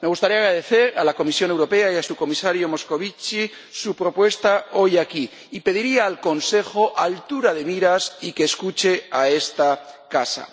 Me gustaría agradecer a la Comisión Europea y a su comisario Moscovici su propuesta hoy aquí, y pediría al Consejo altura de miras y que escuche a esta Casa.